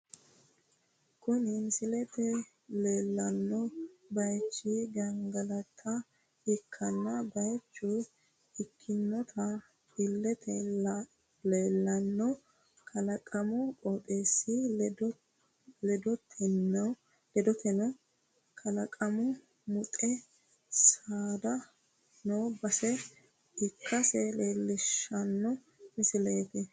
Kuni misilete leellanno baaychi gangalatate ikkanno baaycho ikkinota illete leellanno kalaqaminna qooxeessi ledoteno kalaqamu muxxe saada noo base ikkase leellishshanno misileeti.